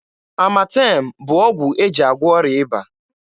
Amatem bụ ọgwụ e ji agwọ ọrịa ịba.